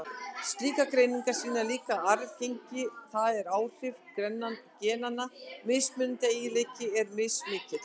Slíkar greiningar sýna líka að arfgengi, það er áhrif genanna, mismunandi eiginleika er mismikið.